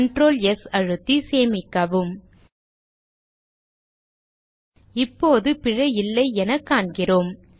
Ctrl S அழுத்தி சேமிக்கவும் இப்போது பிழை இல்லை என காண்கிறோம்